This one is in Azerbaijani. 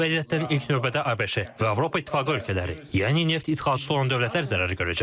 Bu vəziyyətdən ilk növbədə ABŞ və Avropa İttifaqı ölkələri, yəni neft idxalçısı olan dövlətlər zərər görəcək.